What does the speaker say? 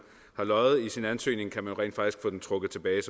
har løjet i sin ansøgning kan man jo rent faktisk få det trukket tilbage